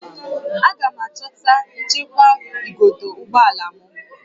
Aga m achọta nchekwa igodo ụgbọ ala m